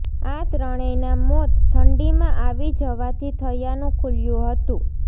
આ ત્રણેયના મોત ઠંડીમાં આવી જવાથી થયાનું ખુલ્યું હતું